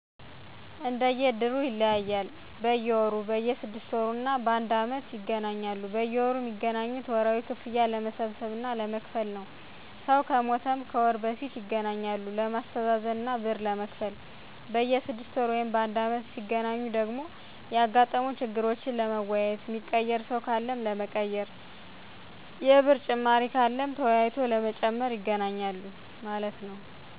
እንድሩ ይለያያሉ፦ በየወሩ፣ በየ 6 ወር እና ባንድ አመት ይገናኛሉ። በየወሩ ሚገናኙት ወርሃዊ ክፍያ ለመሠብሰብ እና ለመክፈል ነው። ሰው ከሞተም ከወር በፊት ይገናኛሉ ለማሥተዛዘን እና ብር ለመክፈል። በየ 6ወር ወይም ባንድ አመት ሢገናኙ ደግሞ ያጋጠሙ ችግሮችን ለመወያየት፣ ሚቀየር ሰው ካለም ለመቀየር፣ የብር ጭማሪ ካለም ተወያይቶ ለመጨመር ይገናኛሉ ማለት ነው